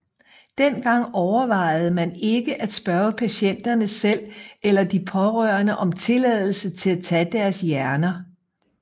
Dengang overvejede man ikke at spørge patienterne selv eller de pårørende om tilladelse til at tage deres hjerner